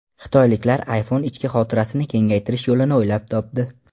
Xitoyliklar iPhone ichki xotirasini kengaytirish yo‘lini o‘ylab topdi.